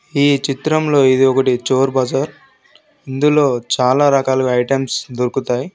ఈ చిత్రంలో ఇది ఒకటి చోర్ బజార్ . ఇందులో చాలా రకాలుగా ఐటమ్స్ దొరుకుతాయి.